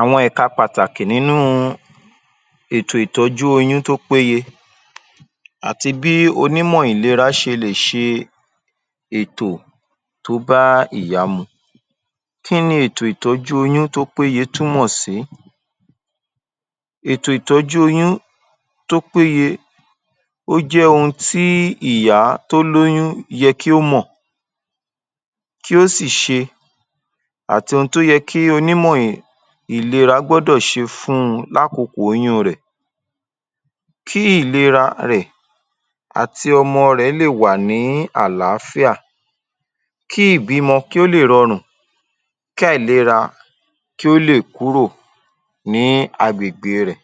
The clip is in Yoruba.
Àwọn ẹka pàtàkì nínú u ètò ìtọ́jú oyún tó péye àti bí onímọ̀ ìlera ṣe lè ṣe ètò tó bá ìyá mu. Kí ni ètò ìtọ́jú oyún tó péye túmọ̀ sí? Ètò ìtọ́jú oyún tó péye ó jẹ́ ohun tí ìyá tó lóyún yẹ kí ó mò kí ó sì ṣe àti ohun tó yẹ kí onímọ̀ ìlera gbọ́dọ̀ ṣe fún un lákókò oyún un rẹ̀. Kí ìlera rẹ̀ àti ọmọ rẹ̀ lè wà ní àlááfíà kí ìbímọ̀ kí ó lè rọrùn kí àìlera kí ó lè kúrò ní agbègbè e rẹ̀